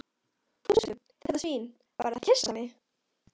Fúsi, þetta svín, var að kyssa mig.